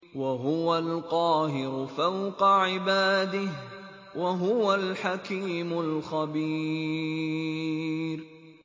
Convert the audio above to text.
وَهُوَ الْقَاهِرُ فَوْقَ عِبَادِهِ ۚ وَهُوَ الْحَكِيمُ الْخَبِيرُ